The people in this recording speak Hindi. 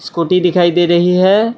स्कूटी दिखाई दे रही है।